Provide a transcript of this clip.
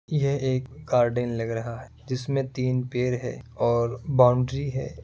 ये एक गार्डन लग रहा है जिस में तिन पेर है और बाउंड्री है।